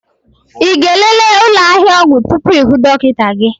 Ị ga-elele ụlọ ahịa ọgwụ tupu ịhụ dọkịta gị?